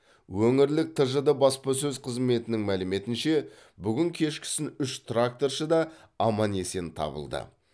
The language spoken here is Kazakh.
өңірлік тжд баспасөз қызметінің мәліметінше бүгін кешкісін үш тракторшы да аман есен табылды